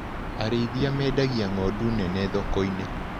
Arĩithia mendagia ng'ondu nene thokoinĩ.